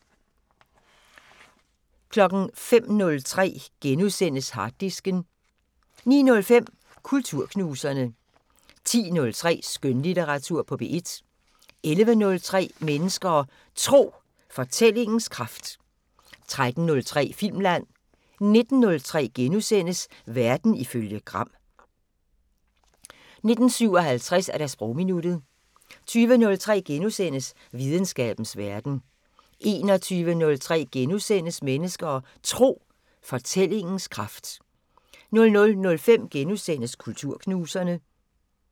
05:03: Harddisken * 09:05: Kulturknuserne 10:03: Skønlitteratur på P1 11:03: Mennesker og Tro: Fortællingens kraft 13:03: Filmland 19:03: Verden ifølge Gram * 19:57: Sprogminuttet 20:03: Videnskabens Verden * 21:03: Mennesker og Tro: Fortællingens kraft * 00:05: Kulturknuserne *